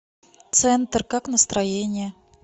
центр как настроение